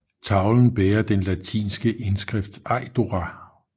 Tavlen bærer den latinske indskrift Eidora